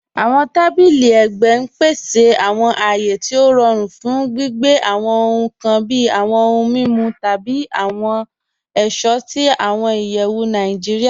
Awọn tàbílì ègbẹ n pèsè awọn àyé tí o rọ̀rùn fún gbìgbẹ̀ awọn ọhun kàn bí awọn ọhun mimu tabi awọn ọṣọ̀ sí awọn ìyẹwu Nàìjíríà.